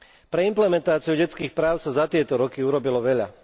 Pre implementáciu detských práv sa za tieto roky urobilo veľa.